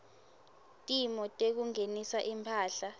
timo tekungenisa imphahla